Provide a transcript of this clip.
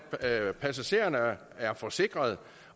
at passagererne er forsikrede